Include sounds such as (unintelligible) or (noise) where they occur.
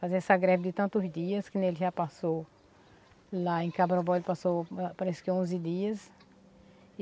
Fazer essa greve de tantos dias que nem ele já passou lá em, (unintelligible) ele passou parece que onze dias.